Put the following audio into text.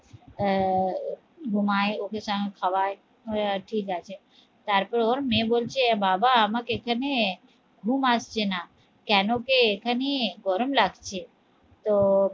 আহ ঘুমাই, ওকে চান, খাওয়াই আহ ঠিক আছে তারপর ওর মেয়ে বলছে বাবা আমাকে এখানে ঘুম আসছে না কেন কে এখানে গরম লাগছে তো